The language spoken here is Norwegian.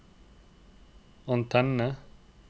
antenne